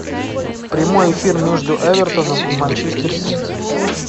прямой эфир между эвертоном и манчестер сити